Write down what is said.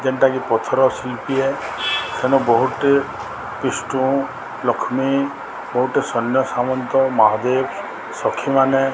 ଯେଣ୍ଟା କି ପଥର ଶୀଳ୍ପି ଏ ଏଣୁ ବୋହୁଟେ ବିଷ୍ଣୁ ଲକ୍ଷ୍ମୀ ବୋହୁଟେ ସନ୍ୟସାମନ୍ତ ମହାଦେବ୍ ସଖୀମାନେ --